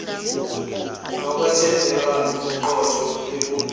lokwethembeka nobuqotho bekomiti